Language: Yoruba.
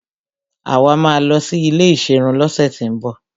Àwa máa lọ sí ilé ìserun lọ́sẹ̀ tín bọ̀.